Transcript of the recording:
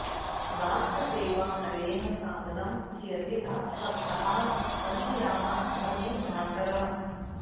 राष्ट्रसेवा नरैः सादरं चीयते राष्ट्रभक्ताः मदीयाः समे भ्रातरः